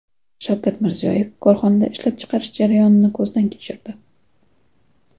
Shavkat Mirziyoyev korxonada ishlab chiqarish jarayonini ko‘zdan kechirdi.